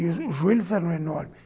E os joelhos eram enormes.